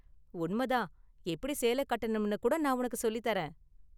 உண்ம தான், எப்படி சேலை கட்டணும்னு கூட நான் உனக்கு சொல்லித் தர்றேன்.